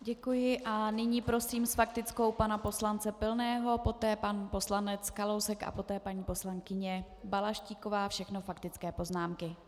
Děkuji a nyní prosím s faktickou pana poslance Pilného, poté pan poslanec Kalousek a poté paní poslankyně Balaštíková, všechno faktické poznámky.